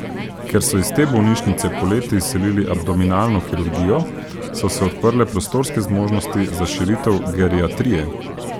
Ker so iz te bolnišnice poleti izselili abdominalno kirurgijo, so se odprle prostorske zmožnosti za širitev geriatrije.